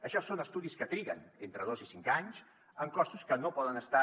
això són estudis que triguen entre dos i cinc anys amb costos que no poden estar